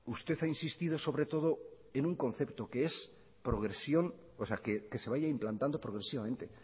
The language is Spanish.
usted ha insistido sobre todo en un concepto que es progresión o sea que se vaya implantando progresivamente